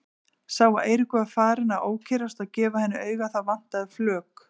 Sá að Eiríkur var farinn að ókyrrast og gefa henni auga, það vantaði flök.